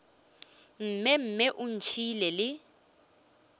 mme mme o ntšhiile le